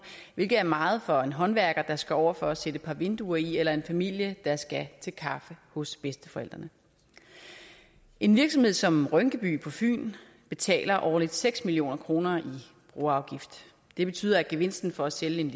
hvilket er meget for en håndværker der skal over for at sætte et par vinduer i eller en familie der skal til kaffe hos bedsteforældrene en virksomhed som rynkeby på fyn betaler årligt seks million kroner i broafgift det betyder at gevinsten for at sælge en